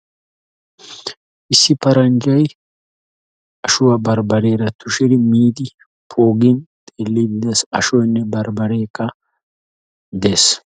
issi paranjjay ashuwa barbariyara miidi de'ees. qassi miishin poogin xeeliidi uttiis.